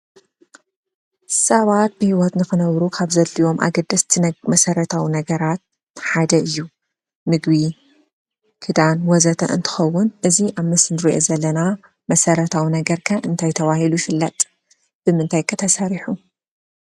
ሰባት ብህይወት ንክነብሩ ካብ ዘድልዮም አገደስቲ መሰረታዊ ነገራት ሓደ እዩ፡፡ ምግቢ ፣ክዳን ወዘተ እንትኸውን እዚ አብ ምስሊ እንሪኦ ዘለና መሰረታዊ ነገር ኸ እንታይ ተባሂሉ ይፍለጥ? ብምንታይ ኸ ተሰሪሑ?